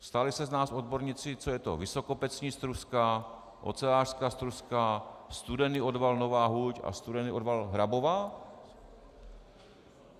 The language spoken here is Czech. Stali se z nás odborníci, co je to vysokopecní struska, ocelářská struska, studený odval Nová huť a studený odval Hrabová.